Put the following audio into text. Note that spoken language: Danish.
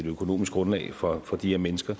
økonomisk grundlag for for de her mennesker